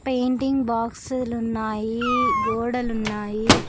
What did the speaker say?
Painting బాక్స్లు ఉన్నాయి గోడలు ఉన్నాయి.